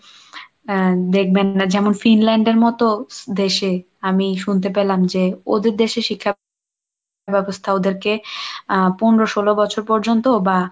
আহ দেখবেন যেমন ফিনল্যান্ডের মতো দেশে আমি শুনতে পেলাম যে ওদের দেশে শিক্ষা ব্যবস্থা ওদেরকে আহ পনেরো ষোল বছর পর্যন্ত বা